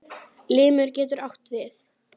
Limur getur átt við